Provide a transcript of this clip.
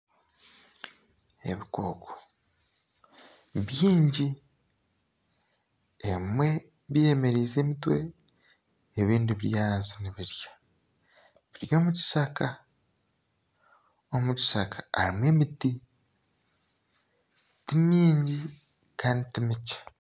Ebikooko nibyingi ebimwe byemererize emitwe ebindi biri ahansi nibirya biri omu kishaka omu kishaka harimu emiti ti mingi kandi ti mikye